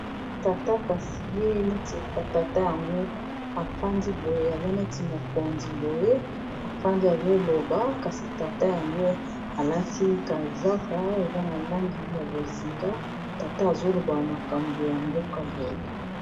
Tata kasi e neti tata yango afandi boye aza neti mokonzi boye afandi azoloba kasi tata yango alati kazaka eza na langi ya bozika tata azoloba makambo ya mboka boye.